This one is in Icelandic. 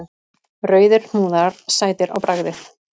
Rauðir hnúðar, sætir á bragðið!